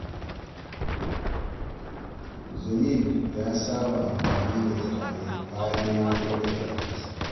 Jamil ya saba amfani da turare bayan ya goge ɗakinsa.